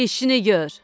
Eşini gör!